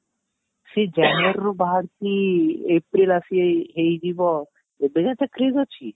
ସେ january ରୁ ବାହାରିକି April ଆସି ହେଇଯିବ ଏବେ ଯାଏଁ ତା crage ଅଛି